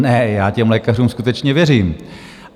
Ne, já těm lékařům skutečně věřím.